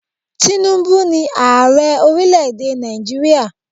Tínúbú ni Ààrẹ orílẹ̀ èdè Nàìjíríà.